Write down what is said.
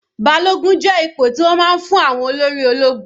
Balogun jẹ́ ipò tí wọ́n máa ń fún olórí àwọn ológun.